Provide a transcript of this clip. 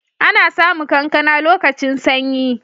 Ana samu kankana lokacin sanyi.